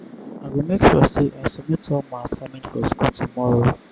i go make sure sey i submit all my assignment for skool tomorrow.